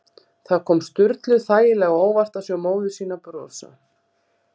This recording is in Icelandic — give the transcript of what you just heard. Það kom Sturlu þægilega á óvart að sjá móður sína brosa.